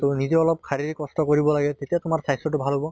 তʼ নিজে অলপ শাৰীৰিক কষ্ট কৰিব লাগে তেতিয়া তোমাৰ স্বাস্থ্য়টো ভাল হʼব